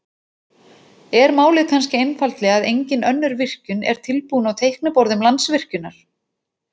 Er málið kannski einfaldlega að engin önnur virkjun er tilbúin á teikniborðum Landsvirkjunar?